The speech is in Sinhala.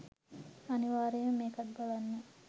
අනිවාර්යෙන්ම මේකත් බලන්න.